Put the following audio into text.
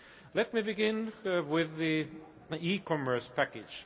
Let me begin with the e commerce package.